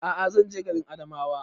A'a zan je garin Adamawa